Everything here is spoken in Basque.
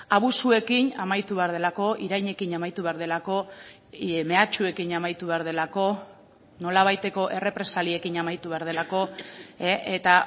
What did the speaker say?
abusuekin amaitu behar delako irainekin amaitu behar delako mehatxuekin amaitu behar delako nolabaiteko errepresaliekin amaitu behar delako eta